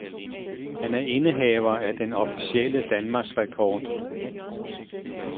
Han er indehaver af den officielle danmarksrekord.